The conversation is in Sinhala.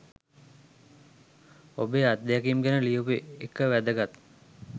ඔබේ අත්දැකීම් ගැන ලියපු එක වැදගත්.